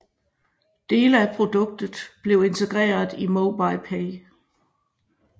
Dele af produktet blev integreret i MobilePay